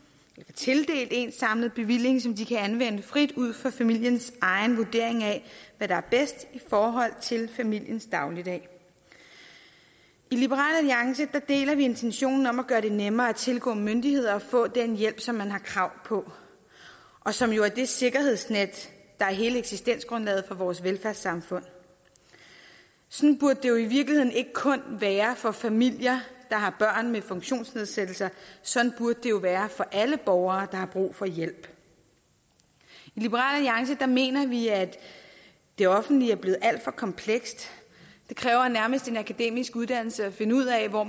tildelt én samlet bevilling som de kan anvende frit ud fra familiens egen vurdering af hvad der er bedst i forhold til familiens dagligdag i liberal alliance deler vi intentionen om at gøre det nemmere at tilgå myndigheder og at få den hjælp som man har krav på og som jo er det sikkerhedsnet der er hele eksistensgrundlaget for vores velfærdssamfund sådan burde det jo i virkeligheden ikke kun være for familier der har børn med funktionsnedsættelser sådan burde det jo være for alle borgere der har brug for hjælp i liberal alliance mener vi at det offentlige er blevet alt for komplekst det kræver nærmest en akademisk uddannelse at finde ud af hvor